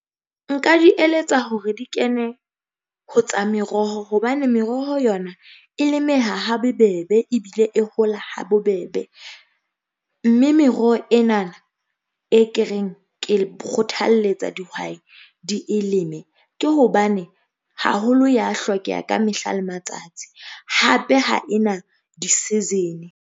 Nka di eletsa hore di kene ho tsa meroho, hobane meroho yona e lemeha ha bebebe ebile e hola ha bobebe, mme meroho ena na e ke reng ke le kgothaletsa dihwai di e leme, ke hobane haholo ya hlokeha ka mehla le matsatsi hape ha ena di-season-e.